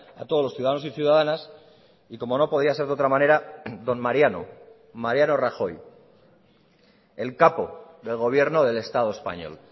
a todos los ciudadanos y ciudadanas y como no podía ser de otra manera don mariano mariano rajoy el capo del gobierno del estado español